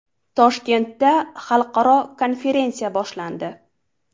Toshkentda xalqaro konferensiya boshlandi.